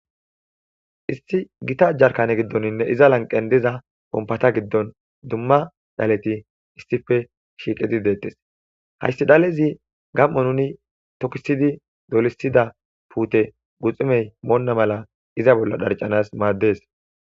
Isti gita ajjarkane giddoninne iza lanqen diza ompata giddon dumma dhaleti issife shiiqidi deettes hayssi dhalezi gam7o nuni tokisidi dolisida puute guxumey moonna mala iza bolla dharcanas maaddes.